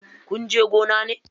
Kunje gona ne?